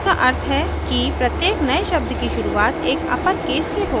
जिसका अर्थ है कि प्रत्येक नए शब्द की शुरूवात एक अपरकेस से हो